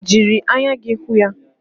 Ọ jiri anya hụ ya?